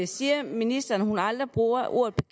siger ministeren at hun aldrig bruger ordet